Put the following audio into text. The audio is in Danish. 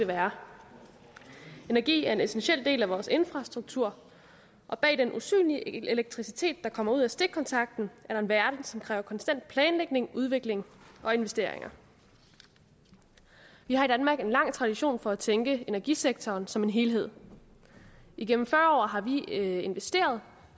være energi er en essentiel del af vores infrastruktur og bag den usynlige elektricitet der kommer ud af stikkontakten er der en verden som kræver konstant planlægning udvikling og investeringer vi har i danmark en lang tradition for at tænke energisektoren som en helhed igennem fyrre år har vi investeret